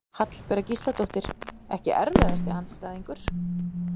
Hallbera Gísladóttir Ekki erfiðasti andstæðingur?